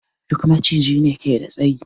Duk Maciji ne ke da tsayi?